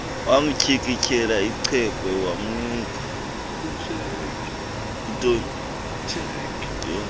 wamtyikityela icheque wamnika